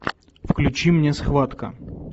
включи мне схватка